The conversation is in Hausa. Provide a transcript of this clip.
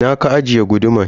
Ina ka ajiye guduman?